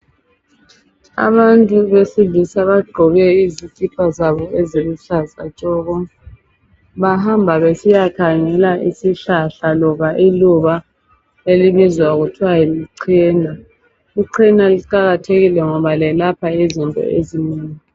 Abantu besilisa bagqoke izikipa zabo eziluhlaza tshoko bahamba besiyakhangela isihlahla loba iluba elibizwa kuthiwa lichena ichena liqakathekile ngoba lelapha izinto ezinengi